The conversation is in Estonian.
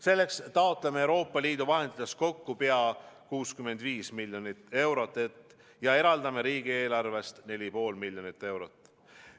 Selleks taotleme Euroopa Liidu vahenditest kokku pea 65 miljonit eurot ja eraldame riigieelarvest 4,5 miljonit eurot.